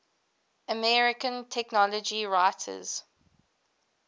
american technology writers